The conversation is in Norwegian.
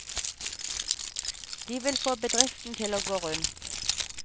De vil få bedriften til å gå rundt.